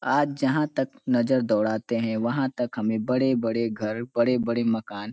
आज जहाँ तक नजर दौड़ाते है वहाँ तक हमें बड़े-बड़े घर बड़े-बड़े मकान --